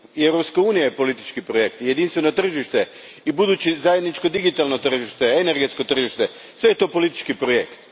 I Europska unija je politički projekt, jedinstveno tržište i buduće zajedničko digitalno tržište, energetsko tržište, sve je to politički projekt.